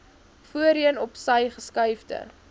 voorheen opsy geskuifde